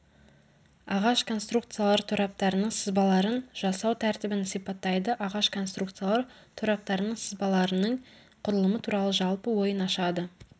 ағаш конструкциялар тораптарының сызбаларын жасау тәртібін сипаттайды ағаш конструкциялар тораптарының сызбаларының құрылымы туралы жалпы ойын ашады